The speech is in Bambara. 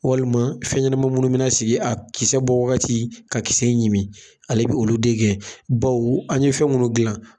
Walima fɛn ɲɛnama minnu bɛna sigi a kisɛ bɔ wagati, k'a kisɛ ɲimi, ale bɛ olu de gɛn. Bawo an ye fɛn minnu dilan